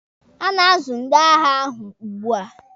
A na-azu ndị agha ahụ ugbua.